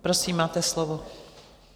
Prosím, máte slovo.